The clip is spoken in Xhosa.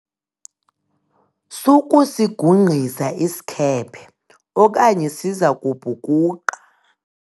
sukusigungqisa isikhephe okanye siza kubhukuqa!